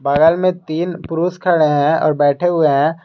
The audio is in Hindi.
बगल में तीन पुरुष खड़े हैं और बैठे हुए हैं।